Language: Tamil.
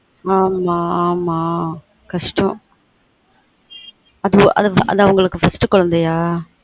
ஆமா ஆமா கஷ்டம் அது அவங்களுக்கு first குழந்தையா